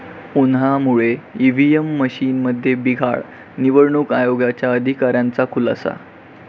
उन्हामुळे ईव्हीएम मशीनमध्ये बिघाड, निवडणूक आयोगाच्या अधिकाऱ्यांचा खुलासा